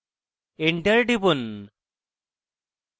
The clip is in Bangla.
enter টিপুন